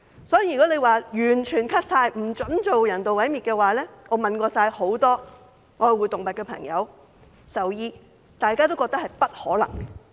所以，如果完全削減有關開支，不准進行人道毀滅的話，我問過很多愛護動物的朋友和獸醫，大家也覺得並不可能。